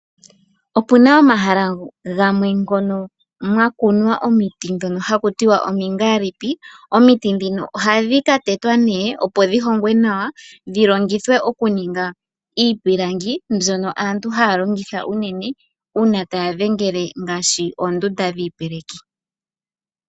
Opuna omahala gamwe ngono mwa kunwa omiti dhono haku tiwa omiingaalipi. Omiti dhino ohadhi ka tetwa nee opo dhi hongwe nawa dhi longithwe oku ninga iipilangi mbyono aantu haa longitha uune uuna taa dhengele ngaashi oondunda dhiipeleki.